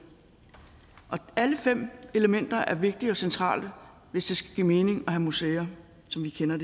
alle fem elementer er vigtige og centrale hvis det skal give mening at have museer som vi kender